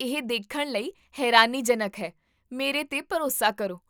ਇਹ ਦੇਖਣ ਲਈ ਹੈਰਾਨੀਜਨਕ ਹੈ, ਮੇਰੇ 'ਤੇ ਭਰੋਸਾ ਕਰੋ